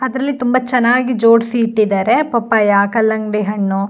ಅದರಲ್ಲಿ ತುಂಬಾ ಚೆನ್ನಾಗಿ ಜೋಡಿಸಿ ಇಟ್ಟಿದ್ದಾರೆ ಪಪ್ಪಾಯ ಕಲ್ಲಂಗಡಿ ಹಣ್ಣು.